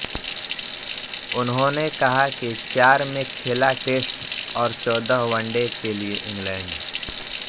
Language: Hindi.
उन्होंने कहा कि चार में खेला टेस्ट और चौदह वनडे के लिए इंग्लैंड